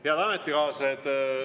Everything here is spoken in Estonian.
Head ametikaaslased!